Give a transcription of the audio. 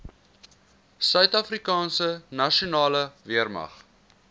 suidafrikaanse nasionale weermag